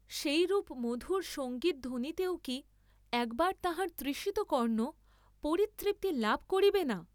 সেইরূপ মধুর সঙ্গীতধ্বনিতেও কি একবার তাঁহার তৃষিত কর্ণ পরিতৃপ্তি লাভ করিবে না?